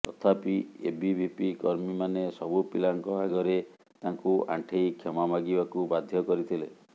ତଥାପି ଏବିଭିପି କର୍ମୀ ମାନେ ସବୁ ପିଲାଙ୍କ ଆଗରେ ତାଙ୍କୁ ଆଣ୍ଠେଇ କ୍ଷମା ମାଗିବାକୁ ବାଧ୍ୟ କରିଥିଲେ